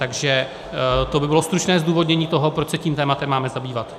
Takže to by bylo stručné zdůvodnění toho, proč se tím tématem máme zabývat.